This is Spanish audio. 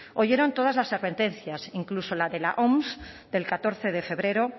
oyeron toda las advertencias incluso la de la oms del catorce de febrero